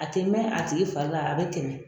A tɛ mɛn a tigi fari la a bɛ tɛmɛ.